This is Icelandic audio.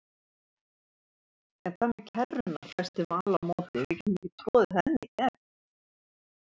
En hvað með kerruna hvæsti Vala á móti, við getum ekki troðið henni í gegn